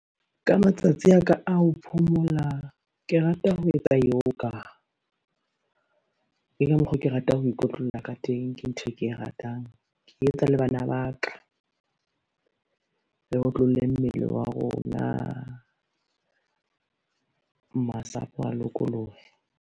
Ka matsatsi a ka a ho phomola, ke rata ho etsa yoga. Ke ka mokgwa oo, ke ratang ho ikotlolla ka teng, ke ntho e ke e ratang ke etsa le bana ba ka, re otlolle mmele wa rona, masapo a lokolohe.